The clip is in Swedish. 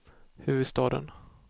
huvudstaden